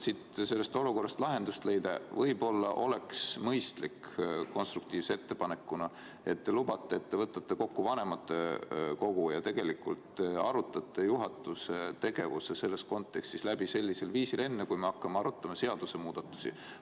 Aga selleks, et olukorrale lahendus leida, oleks võib-olla mõistlik – teen konstruktiivse ettepaneku –, kui te lubate, et kutsute kokku vanematekogu ja arutate juhatuse tegevuse selles kontekstis läbi enne, kui me hakkame arutama seadusemuudatusi.